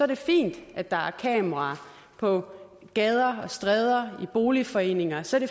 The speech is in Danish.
det fint at der er kameraer på gader og stræder og i boligforeninger så er